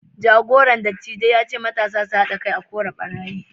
jagoran dattijai ya ce matasa su hada kai a kora ɓarayi